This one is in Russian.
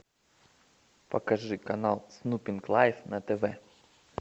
покажи канал снупинг лайф на тв